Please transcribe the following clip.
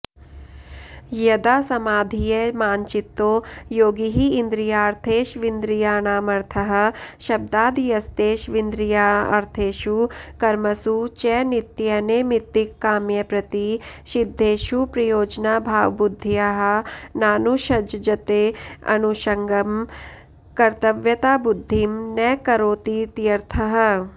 यदा समाधीयमानचित्तो योगी हीन्द्रियार्थेष्विन्द्रियाणामर्थः शब्दादयस्तेष्विन्द्रियार्थेषु कर्मसु च नित्यनैमित्तिककाम्यप्रतिशिद्धेषुप्रयोजनाभावबुद्धया नानुषज्जतेऽनुषङ्गं कर्तव्यताबुद्धिं न करोतीत्यर्थः